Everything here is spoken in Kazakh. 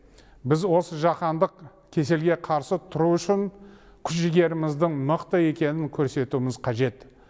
біз осы жаһандық кеселге қарсы тұру үшін күш жігеріміздің мықты екенін көрсетуіміз қажет